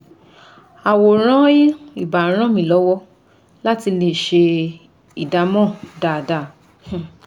Àwòrán ì bá ràn mí lọ́wọ́ látì lè ṣe ìdámọ̀ dáada